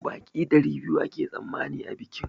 Baƙi ɗari biyu ake tsammani a bikin